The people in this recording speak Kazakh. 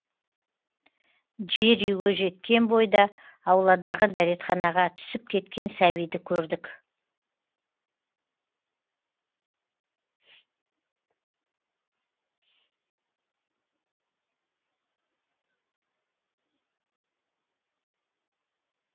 жер үйге жеткен бойда ауладағы дәретханаға түсіп кеткен сәбиді көрдік